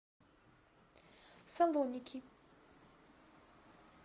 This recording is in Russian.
салоники